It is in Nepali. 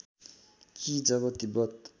कि जब तिब्बत